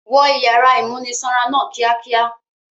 Wọ ìyàrá ìmúnisanra náà kíákíá!